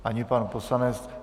Ani pan poslanec.